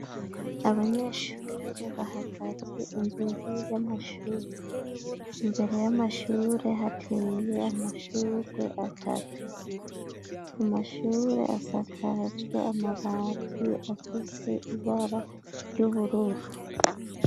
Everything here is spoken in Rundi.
Abanyeshuri bahagaze imbere y'amashure, imbere y'amashure hateye amashurwe atatu, amashure asakajwe amabati afise ibara ry'ubururu